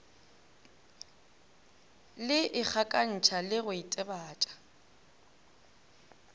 le ikgakantšha le go itebatša